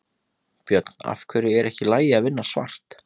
Björn: Af hverju er ekki í lagi að vinna svart?